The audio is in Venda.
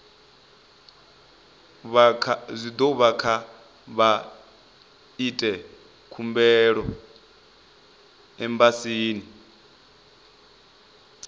kha vha ite khumbelo embasini